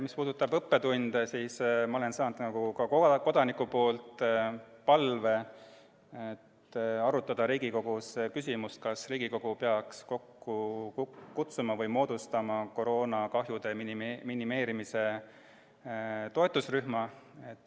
Mis puudutab õppetunde, siis ma olen saanud ka kodanikelt palve arutada Riigikogus küsimust, kas Riigikogu peaks kokku kutsuma või moodustama koroonakahjude minimeerimise toetusrühma.